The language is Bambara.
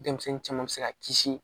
Denmisɛnnin caman bɛ se ka kisi